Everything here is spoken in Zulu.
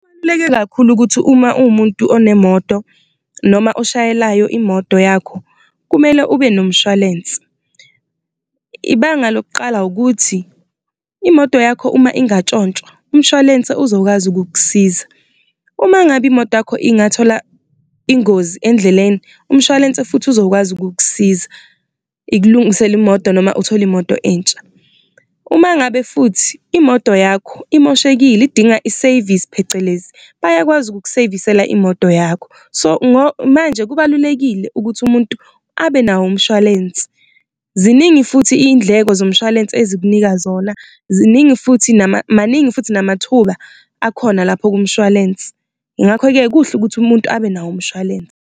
Kabaluleke kakhulu ukuthi uma uwumuntu onemoto noma oshayelayo imodo yakho kumele ubenomshwalensi, ibanga lokuqala ukuthi imodo yakho uma ingatshontshwa umshwalense uzokwazi ukukusiza, uma ngabe imotakho ingathola ingozi endleleni umshwalense futhi uzokwazi ukukusiza ikulungisele imodo noma uthole imodo entsha. Uma ngabe futhi imodo yakho imoshekile idinga i-service phecelezi, bayakwazi ukukuseyivisela imodo yakho so, manje kubalulekile ukuthi umuntu abe nawo umshwalensi. Ziningi futhi iyindleko zomshwalense ezikunika zona, ziningi futhi maningi futhi namathuba akhona lapho kumshwalensi ngakho-ke kuhle ukuthi umuntu abe nawo umshwalense.